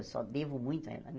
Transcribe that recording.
Eu só devo muito a ela né.